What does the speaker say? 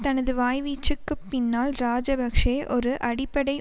தனது வாய்வீச்சுக்குப் பின்னால் இராஜபக்ஷ ஒரு அடிப்படை